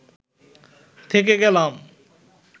থেকে গেলাম